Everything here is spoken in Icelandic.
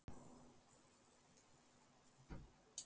Finnst þér gaman að veiða fisk?